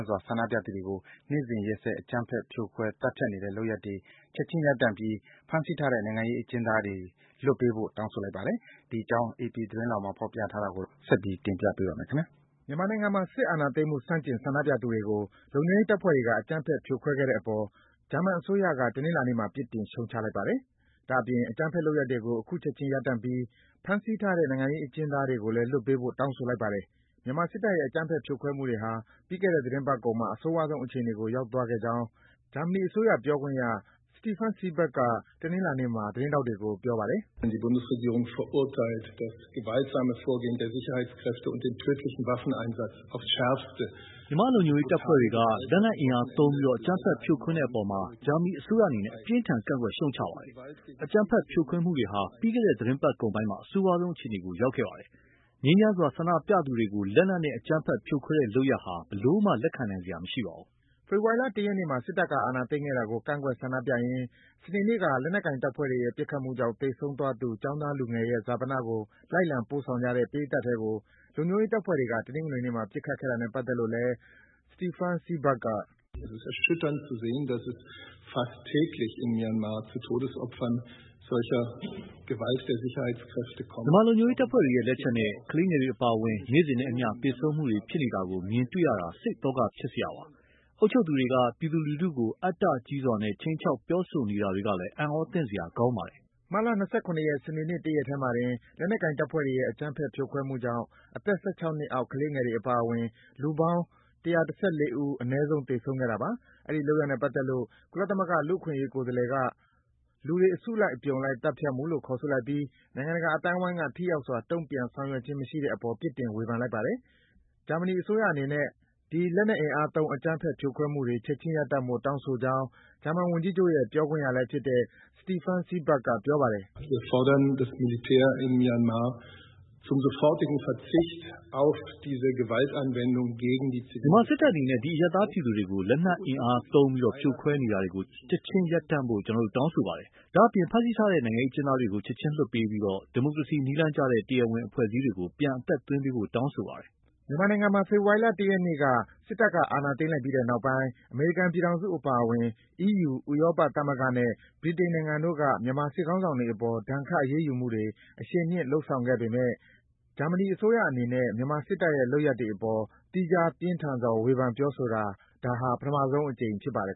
စွာ ဆန္ဒပြသူတွေကို နေ့စဉ် ရက်ဆက် အကြမ်းဖက် ဖြိုခွဲ၊ သတ်ဖြတ်နေတဲ့ လုပ်ရပ်တွေ ချက်ခြင်း ရပ်တန့်ပြီး ဖမ်းဆီးထားတဲ့ နိုင်ငံခြားရေးအကျဉ်းသားတွေ လွှတ်ပေးဖို့ တောင်းဆိုလိုက်ပါတယ်။ ဒီအကြောင်းကို အေပီ သတင်းဆောင်းပါးကို အခြေခံပြီး ကိုဇော်ဝင်းလှိုင်က တင်ပြပေးပါမယ်။ မြန်မာနိုင်ငံမှာ စစ်အာဏာသိမ်းမှု ဆန့်ကျင် ဆန္ဒပြသူတွေကို လုံခြုံရေးတပ်ဖွဲ့တွေက အကြမ်းဖက် ဖြိုခွဲခဲ့နေတဲ့အပေါ် ဂျာမန်အစိုးရက တနင်္လာနေ့မှာ ပြစ်တင် ရှုတ်ချလိုက်ပါတယ်။ ဒါ့အပြင် အကြမ်းဖက်လုပ်ရပ်တွေကို ချက်ခြင်း ရပ်တန့်ပြီး ဖမ်းဆီးထားတဲ့ နိုင်ငံရေးအကျဉ်းသားတွေကို လွှတ်ပေးဖို့ တောင်းဆိုလိုက်ပါတယ်။ မြန်မာစစ်တပ်ရဲ့ အကြမ်းဖက် ဖြိုခွဲမှုတွေဟာ ပြီးခဲ့တဲ့ သီတင်းပတ်ကုန်ပိုင်းမှာ အဆိုးရွားဆုံးအခြေအနေကို ရောက်သွားခဲ့ကြောင်း ဂျာမနီအစိုးရ ပြောခွင့်ရ Steffen Seibert က တနင်္လာနေ့မှာ သတင်းထောက်တွေကို ပြောပါတယ်။ “မြန်မာလုံခြုံရေးတပ်ဖွဲ့တွေက လက်နက်အင်အားသုံးပြီး အကြမ်းဖက် ဖြိုခွဲတဲ့အပေါ် ဂျာမနီအစိုးရအနေနဲ့ အပြင်းအထန် ကန့်ကွက် ရှုတ်ချပါတယ်။ အကြမ်းဖက် ဖြိုခွဲမှုတွေဟာ ပြီးခဲ့တဲ့ သီတင်းပတ်ကုန်ပိုင်းမှာ အဆိုးရွားဆုံးအခြေအနေကို ရောက်ခဲ့ပါတယ်။ ငြိမ်းချမ်းစွာ ဆန္ဒပြကြသူတွေကို လက်နက်နဲ့ အကြမ်းဖက်ဖြိုခွဲတဲ့ လုပ်ရပ်ဟာ ဘယ်လိုမှ လက်ခံနိုင်စရာ မရှိပါဘူး။” ဖေဖော်ဝါရီလ ၁ ရက်နေ့မှာ စစ်တပ်က အာဏာသိမ်းခဲ့တာကို ကန့်ကွက် ဆန္ဒပြရင်း စနေနေ့က လက်နက်ကိုင်တပ်ဖွဲ့တွေရဲ့ ပတ်ခတ်မှုကြောင့် သေဆုံးသွားသူ ကျောင်းသားလူငယ်ရဲ့ ဈာပနကို လိုက်လံပို့ဆောင်ကြတဲ့ ပရိတ်သတ်ထဲကို လုံခြုံရေးတပ်ဖွဲ့တွေက တနင်္ဂနွေနေ့မှာ ပစ်ခတ်ခဲ့တာနဲ့ပတ်သက်လို့လည်း Steffen Seibert က - “မြန်မာလုံခြုံရေးတပ်ဖွဲ့တွေရဲ့ လက်ချက်နဲ့ ကလေးငယ်တွေအပါအဝင် နေ့စဉ်နဲ့အမျှ သေဆုံးမှုတွေ ဖြစ်နေတာကို မြင်တွေ့နေရတာဟာ စိတ်သောက ဖြစ်စရာပါ။ အုပ်ချုပ်သူတွေက ပြည်သူလူထုကို အတ္တကြီးစွာ ခြိမ်းခြောက် ပြောဆိုနေတာတွေကလည်း အံ့အားသင့်စရာ ကောင်းပါတယ်။” မတ်လ ၂၇ ရက်၊ စနေနေ့ တရက်ထဲမှာတင် လက်နက်ကိုင်တပ်ဖွဲ့တွေရဲ့ အကြမ်းဖက် ဖြိုခွဲမှုကြောင့် အသက် ၁၆ နှစ်အောက် ကလေးငယ်တွေအပါအဝင် လူပေါင်း ၁၁၄ ဦး သေဆုံးခဲ့တာပါ။ အဲဒီ လုပ်ရပ်နဲ့ပတ်သက်လို့ ကုလသမဂ္ဂကလူ့အခွင့်အရေး ကိုယ်စားလှယ်က “လူတွေ အစုလိုက်အပြုံလိုက် သတ်ဖြတ်မှု” လို့ ခေါ်ဆိုလိုက်ပြီး နိုင်ငံတကာအသိုင်းဝိုင်းက ထိရောက်စွာ တုံ့ပြန် ဆောင်ရွက်ခြင်း မရှိတဲ့အပေါ် ပြစ်တင် ဝေဖန်လိုက်ပါတယ်။ ဂျာမနီအစိုးရအနေနဲ့ ဒီ လက်နက်အင်အားသုံးပြီး အကြမ်းဖက် ဖြိုခွဲမှုတွေ ချက်ခြင်းရပ်တန့်ဖို့ တောင်းဆိုကြောင်း ဂျာမန်ဝန်ကြီးချုပ်ရဲ့ ပြောခွင့်ရလည်းဖြစ်တဲ့ Steffen Seibert က ပြောပါတယ်။ “မြန်မာစစ်တပ်အနေနဲ့ ဒီ အရပ်သားပြည်သူတွေကို လက်နက်အင်အားသုံး ဖြိုခွဲနေတာကို ချက်ခြင်းရပ်တန့်ဖို့ ကျနော်တို့ တောင်းဆိုပါတယ်။ ဒါ့အပြင် ဖမ်းဆီးထားတဲ့ နိုင်ငံရေးအကျဉ်းသားတွေကို ချက်ခြင်းလွှတ်ပေးပြီး ဒီမိုကရေစီ နည်းလမ်းကျတဲ့ တရားဝင်အဖွဲ့အစည်းတွေကို ပြန်အသက်သွင်းပေးဖို့ တောင်းဆိုပါတယ်။” မြန်မာနိုင်ငံမှာ ဖေဖော်ဝါရီလ ၁ ရက်နေ့က စစ်တပ်က အာဏာသိမ်းလိုက်ပြီးတဲ့နောက်ပိုင်း အမေရိကန်ပြည်ထောင်စုအပါအဝင် အီးယူ ဥရောပသမဂ္ဂနဲ့ ဗြိတိန်နိုင်ငံတို့က မြန်မာစစ်ခေါင်းဆောင်တွေအပေါ် ဒဏ်ခတ် အရေးယူမှုတွေ အရှိန်မြင့် လုပ်ဆောင်လာနေပေမဲ့ ဂျာမနီ အစိုးရအနေနဲ့ မြန်မာစစ်တပ်ရဲ့ လုပ်ရပ်အပေါ် သီးခြား ပြင်းထန်စွာ ဝေဖန် ပြောဆိုတာ ဒါ ပထမဆုံးအကြိမ် ဖြစ်ပါတယ်